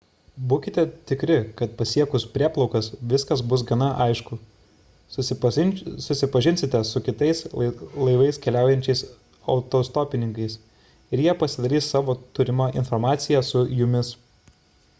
būkite tikri kad pasiekus prieplaukas viskas bus gana aišku susipažinsite su kitais laivais keliaujančiais autostopininkais ir jie pasidalys savo turima informacija su jumis